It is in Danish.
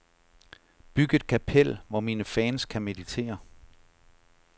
Byg et kapel, hvor mine fans kan meditere.